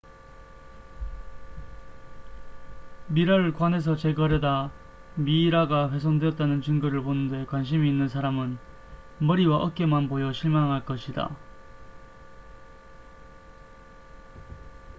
미라를 관에서 제거하려다 미이라가 훼손됐다는 증거를 보는 데 관심이 있는 사람은 머리와 어깨만 보여 실망할 것이다